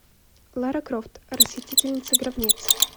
лара крофт расхитительница гробниц